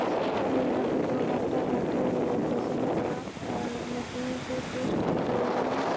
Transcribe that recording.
Hospital है यहाँ पे दो डॉक्टर बैठे हुए है| पैशन्ट का आ मशीन से टेस्ट कर रहे है।